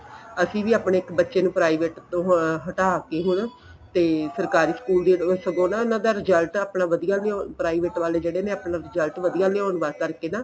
ਅਸੀਂ ਵੀ ਆਪਣੇ ਇੱਕ ਬੱਚੇ ਨੂੰ ਇੱਕ private ਤੋਂ ਹਟਾ ਕੇ ਹੁਣ ਤੇ ਸਰਕਾਰੀ school ਦੀ ਸਗੋ ਨਾ ਉਨ੍ਹਾਂ ਦਾ result ਆਪਣਾ ਵਧੀਆ ਵੀ private ਵਾਲੇ ਜਿਹੜੇ ਨੇ ਆਪਣਾ result ਵਧੀਆ ਲਿਆਉਣ ਕਰਕੇ ਨਾ